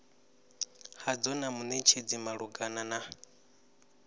hadzo na munetshedzi malugana na